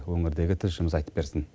өңірдегі тілшіміз айтып берсін